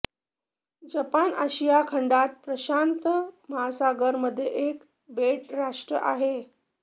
Japan आशिया खंडात प्रशांत महासागर मध्ये एक बेट राष्ट्र आहे